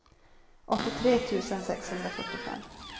åttiotre tusen sexhundrafyrtiofem